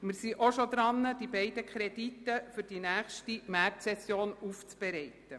Wir sind bereits daran, die beiden Kredite auf die nächste Märzsession hin aufzubereiten.